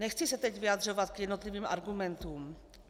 Nechci se teď vyjadřovat k jednotlivým argumentům.